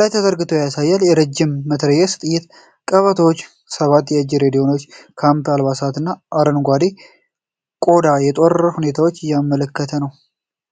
ላይ ተዘርግተው ያሳያል። የረጅም መትረየስ ጥይት ቀበቶዎች፣ ሰባት የእጅ ሬዲዮዎች፣ የካምፕ አልባሳት እና አረንጓዴ ኮዳ የጦርነት ሁኔታን የሚያመለክት ነው።